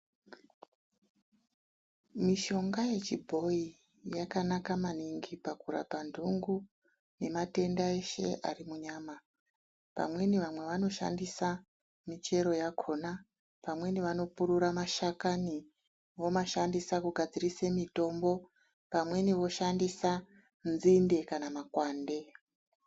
Mishonga yechibhoi yakanaka maningi pakurapa nhungu nematenda eshe ari munyama. Pamweni vamwe vanoshandisa michero yakona pamweni vanopurura mashakani vomashandisa kugadzirise mitombo. Pamweni voshandisa nzinde kana mapande.